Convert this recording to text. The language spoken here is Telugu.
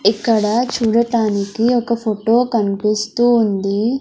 ఇక్కడ చూడటానికి ఒక ఫొటో కన్పిస్తూ ఉంది.